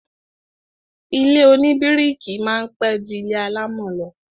Ilé oníbíríkì máa pẹ́ ju ilé alámọ̀ lọ